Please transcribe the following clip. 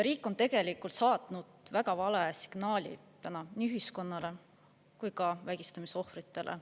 Riik on tegelikult saatnud väga vale signaali täna nii ühiskonnale kui ka vägistamise ohvritele.